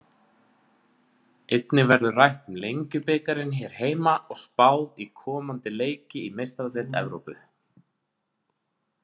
Einnig verður rætt um Lengjubikarinn hér heima og spáð í komandi leiki í Meistaradeild Evrópu.